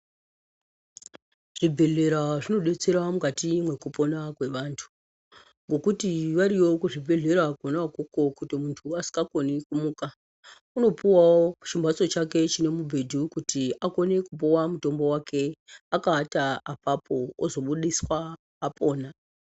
Zvibhedhlera zvinodetsera mukati mwekupona kwevantu ngokuti variyo kuzvibhedhlera konaikoko kuti muntu asingakoni kumuka unopuwawo chimhatso chake chine mubhedhi wekuti akone kupuwa mutombo wake akaata apapo ozobudiswa apora.